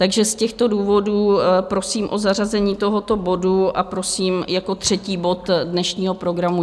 Takže z těchto důvodů prosím o zařazení tohoto bodu a prosím jako třetí bod dnešního programu.